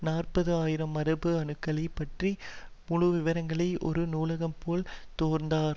நாற்பது ஆயிரம் மரபு அணுக்களை பற்றி முழுவிவரங்களை ஒரு நூலகம் போல் தொர்ந்தார்